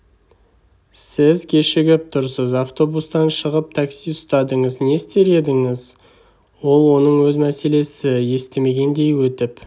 сіз кешігіп тұрсыз автобустан шығып такси ұстадыңыз не істер едіңіз ол оның өз мәселесі естімегендей өтіп